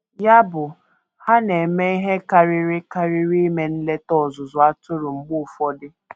Ya bụ, ha na - eme ihe karịrị karịrị ime nleta ọzụzụ atụrụ mgbe ụfọdụ.